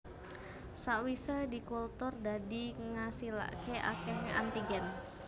Sakwise dikultur dadi ngasilaké akeh antigen